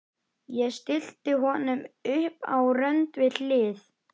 Litirnir ofur raunverulegir í skjannahvítri birtu morgunsins.